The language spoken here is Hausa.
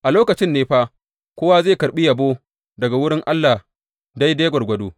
A lokacin ne fa kowa zai karɓi yabo daga wurin Allah daidai gwargwado.